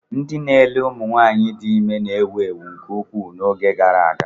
Ndị na-ele ụmụ nwaanyị di ime na-ewu ewu nke ukwuu n'oge gara aga.